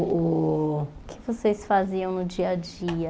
O o que é que vocês faziam no dia a dia?